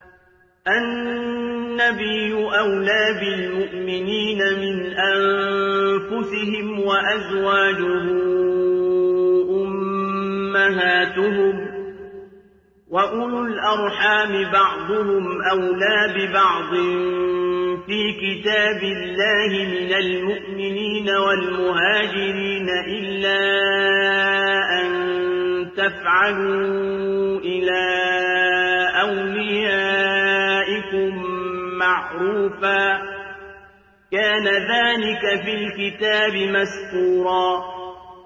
النَّبِيُّ أَوْلَىٰ بِالْمُؤْمِنِينَ مِنْ أَنفُسِهِمْ ۖ وَأَزْوَاجُهُ أُمَّهَاتُهُمْ ۗ وَأُولُو الْأَرْحَامِ بَعْضُهُمْ أَوْلَىٰ بِبَعْضٍ فِي كِتَابِ اللَّهِ مِنَ الْمُؤْمِنِينَ وَالْمُهَاجِرِينَ إِلَّا أَن تَفْعَلُوا إِلَىٰ أَوْلِيَائِكُم مَّعْرُوفًا ۚ كَانَ ذَٰلِكَ فِي الْكِتَابِ مَسْطُورًا